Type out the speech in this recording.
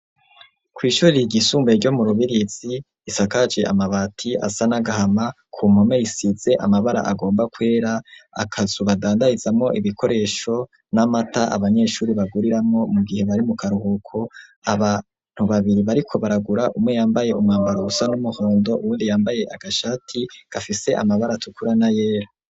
Kw' ishuri ryisumbuye ryo murubirizi isakaje amabati asa n'agahama ku mpome isize amabara agomba kwera, akazu badandarizamwo ibikoresho nk'amata abanyeshuri baguriramo mu gihe bari mu karuhuko abantu babiri bariko baragura umwe yambaye umwambaro usa n'umuhondo uwundi yambaye agashati gafise amabara atukura n'ayera.